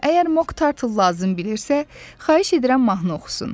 Əgər Moktarl lazım bilirsə, xahiş edirəm mahnı oxusun.